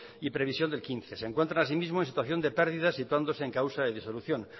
y previsión del quince se encuentran asimismo en situación de pérdida situándose en causa de disolución